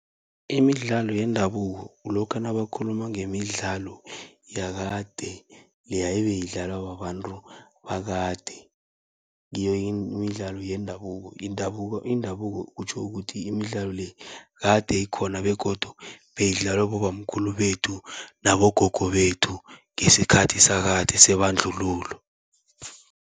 Imidlalo yendabuko kulokha nabakhuluma ngemidlalo yakade, leya ebeyidlalwa babantu bakade. Ngiyo imidlalo yendabuko indabuko kutjho ukuthi, imidlalo le kade ikhona begodu beyidlalwa bobamkhulu bethu nabogogo bethu ngesikhathi sakade sebandlululo.